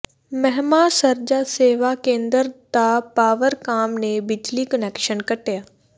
ਮਹਿਮਾ ਸਰਜਾ ਸੇਵਾ ਕੇਂਦਰ ਦਾ ਪਾਵਰਕਾਮ ਨੇ ਬਿਜਲੀ ਕੁਨੈਕਸ਼ਨ ਕੱਟਿਆ